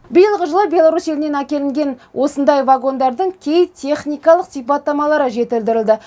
биылғы жылы беларусь елінен әкелінген осындай вагондардың кей техникалық сипаттамалары жетілдірілді